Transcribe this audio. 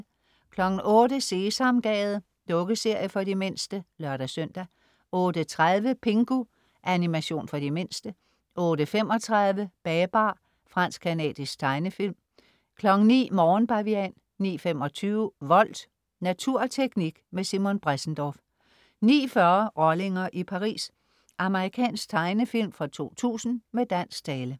08.00 Sesamgade. Dukkeserie for de mindste (lør-søn) 08.30 Pingu. Animation for de mindste 08.35 Babar. Fransk-canadisk tegnefilm 09.00 Morgenbavian 09.25 Volt. Natur og teknik med Simon Bressendorff 09.40 Rollinger i Paris. Amerikansk tegnefilm fra 2000 med dansk tale